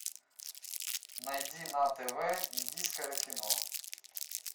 найди на тв индийское кино